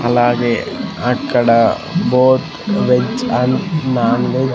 అలాగే అక్కడ both veg and non veg --